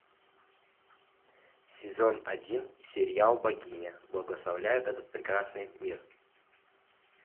сезон один сериал богиня благословляет этот прекрасный мир